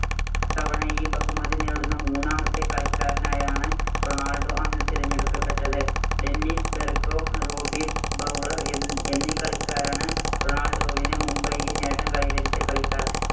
തവണ ഈ ബഹുമതി നേടുന്ന മൂന്നാമത്തെ കളിക്കാരനായാണ്‌ റൊണാൾഡോ അന്ന് തെരഞ്ഞെടുക്കപ്പെട്ടത്. ഡെന്നിസ് ബെർകാം‌പ്, റോബി ഫൌളർ എന്നീ കളിക്കാരാണ് റൊണാൾഡോവിന് മുമ്പ് ഈ നേട്ടം കൈവരിച്ച കളിക്കാർ.